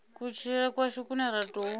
kutshilele kwashu kune ra tou